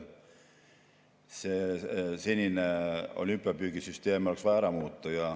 Senine olümpiapüügisüsteem oleks vaja ära muuta.